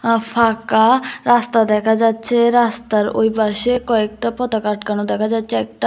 আ ফাঁকা রাস্তা দেখা যাচ্ছে রাস্তার ওইপাশে কয়েকটা পতাকা আটকানো দেখা যাচ্ছে একটা--